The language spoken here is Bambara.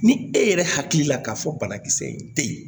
Ni e yɛrɛ hakili la k'a fɔ banakisɛ in tɛ ye